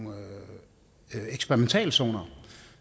eksperimentalzoner